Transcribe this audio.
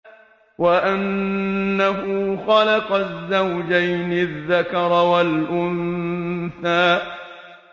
وَأَنَّهُ خَلَقَ الزَّوْجَيْنِ الذَّكَرَ وَالْأُنثَىٰ